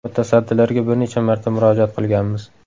Mutasaddilarga bir necha marta murojaat qilganmiz.